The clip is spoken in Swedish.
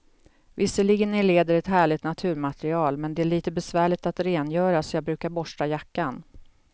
Visserligen är läder ett härligt naturmaterial, men det är lite besvärligt att rengöra, så jag brukar borsta jackan.